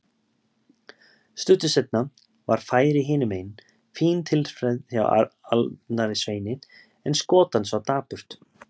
Stuttu seinna var færi hinumegin, fín tilþrif hjá Arnari Sveini en skot hans var dapurt.